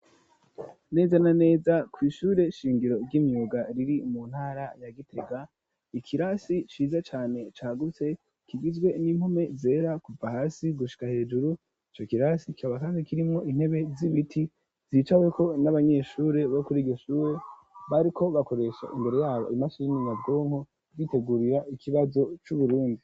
neza na neza kw,ishure shingiro ry'imyuga riri mu ntara ya gitega ikirasi ciza cane cagutse kigizwe n'impome zera kuva hasi gushika hejuru ico kirasi gisanzwe kirimwo intebe z'ibiti zicaweko n'abanyeshure bo kuri iryo shure bariko bakoresha imbere yabo imashine nyabwonko bitegurira ikibazo c,uburundi.